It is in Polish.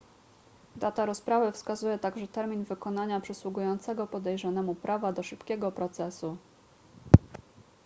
data rozprawy wskazuje także termin wykonania przysługującego podejrzanemu prawa do szybkiego procesu